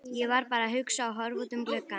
Ég var bara að hugsa og horfa út um gluggann.